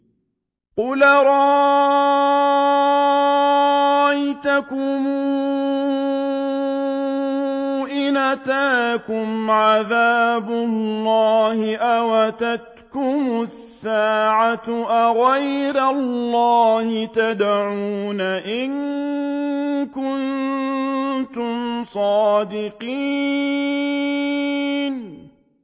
قُلْ أَرَأَيْتَكُمْ إِنْ أَتَاكُمْ عَذَابُ اللَّهِ أَوْ أَتَتْكُمُ السَّاعَةُ أَغَيْرَ اللَّهِ تَدْعُونَ إِن كُنتُمْ صَادِقِينَ